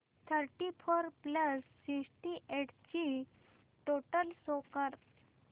thirty four plus sixty eight ची total show कर